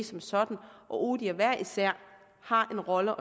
som sådan og odihr hver især har en rolle